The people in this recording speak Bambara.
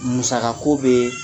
Musakako bɛ